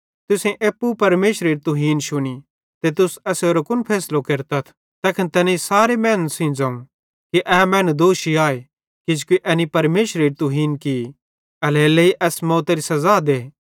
तुसेईं एप्पू परमेशरेरी तुहीन शुनी ते तुस एसेरो कुन फैसलो केरतथ तैखन तैनेईं सारे मैनेईं ज़ोवं कि ए मैनू दोषी आए किजोकि एनी परमेशरेरी तुहीन की एल्हेरेलेइ एस मौतरी सज़ा दे